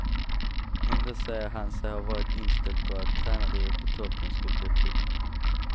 Ändå säger han sig ha varit inställd på att tränarlivet på toppen skulle bli tufft.